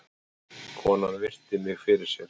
Konan virti mig fyrir sér.